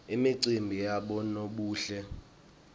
imicimbi yabonobuhle